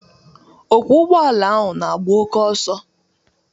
Ọkwo ụgbọala ahụ n'agba oké oso